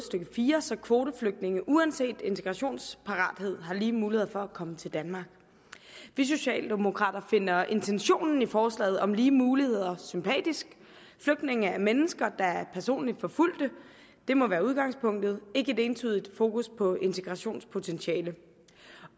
stykke fire så kvoteflygtninge uanset integrationsparathed har lige muligheder for at komme til danmark vi socialdemokrater finder intentionen i forslaget om lige muligheder sympatisk flygtninge er mennesker der er personligt forfulgte det må være udgangspunktet ikke et ensidigt fokus på integrationspotentiale